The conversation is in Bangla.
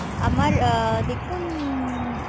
আমার দেখুউউউউন